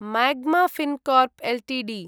Magma Fincorp Ltd